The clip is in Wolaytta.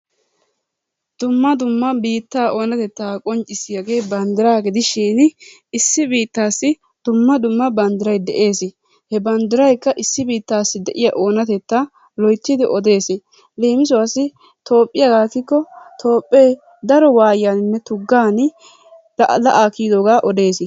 Dumma dumma biittaa oonateta qonccisiyagee banddiraa gidishiini issi biittaassi dumma dumma banddiray de"eesi. He bandirayikka issi biittassi de'iyaa oonatetta loyttidi odees. Leemisuwassi ekikko Toophee daro waayiynne tuggan la"a kiyyidooga odees.